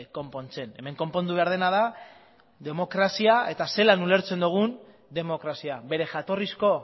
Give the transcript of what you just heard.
konpontzen hemen konpondu behar dena da demokrazia eta zelan ulertzen dugun demokrazia bere jatorrizko